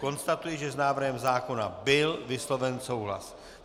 Konstatuji, že s návrhem zákona byl vysloven souhlas.